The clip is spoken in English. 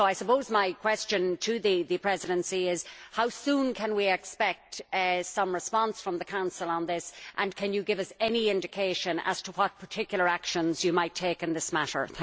So I suppose my question to the Presidency is how soon can we expect some response from the Council on this, and can you give us any indication as to what particular actions you might take in this matter?